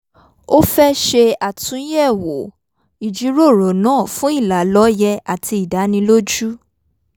ó fẹ́ ṣe àtúnyẹ̀wò ìjíròrò náà fún ìlàlọ́ye àti ìdánilójú